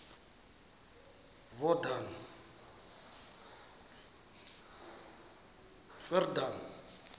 yordane